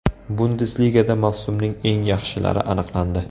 Bundesligada mavsumning eng yaxshilari aniqlandi.